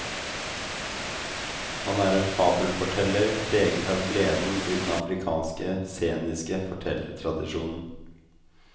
Han er en fabelforteller, preget av gleden i den afrikanske sceniske fortellertradisjonen.